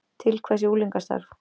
Til hvers er unglingastarf